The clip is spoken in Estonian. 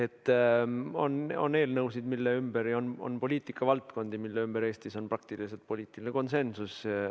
Nii et on eelnõusid ja on poliitikavaldkondi, milles Eestis on praktiliselt poliitiline konsensus.